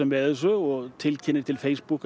með þessu og tilkynnir til Facebook